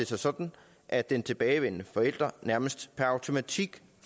sig sådan at den tilbageværende forælder nærmest per automatik